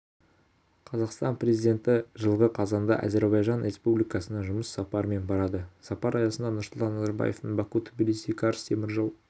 қазақстан президенті жылғы қазанда әзербайжан республикасына жұмыс сапарымен барады сапар аясында нұрсұлтан назарбаевтың баку-тбилиси-карс теміржол